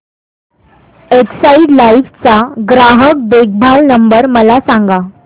Exide Life चा ग्राहक देखभाल नंबर मला सांगा